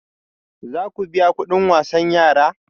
Za ku biya kudin wasan yara?